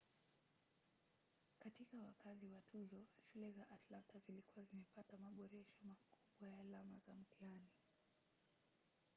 katika wakati wa tuzo shule za atlanta zilikuwa zimepata maboresho makubwa ya alama za mtihani